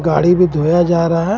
गाड़ी भी धोया जा रहा है.